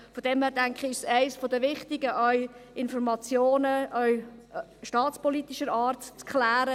Ich denke, es ist daher etwas vom Wichtigsten, Informationen auch staatspolitischer Art zu klären.